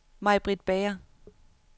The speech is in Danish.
Maj-Britt Bager